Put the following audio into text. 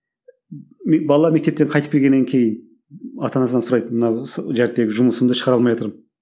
бала мектептен қайтып келгеннен кейін ата анасынан сұрайды мына жұмысымды шығара алмайатырмын